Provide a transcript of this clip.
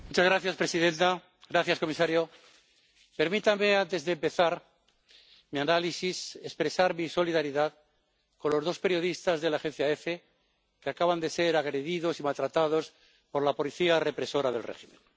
Señora presidenta, señor comisario, permítanme antes de empezar mi análisis expresar mi solidaridad con los dos periodistas de la Agencia Efe que acaban de ser agredidos y maltratados por la policía represora del régimen.